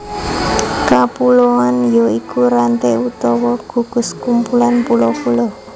Kapuloan ya iku ranté utawa gugus kumpulan pulo pulo